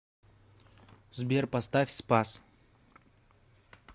сбер поставь спас